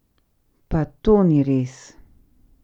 Pa to ni res!